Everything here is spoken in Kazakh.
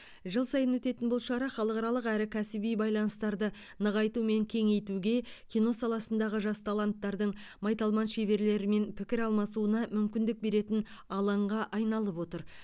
жыл сайын өтетін бұл шара халықаралық әрі кәсіби байланыстарды нығайту мен кеңейтуге кино саласындағы жас таланттардың майталман шеберлерімен пікір алмасуына мүмкіндік беретін алаңға айналып отыр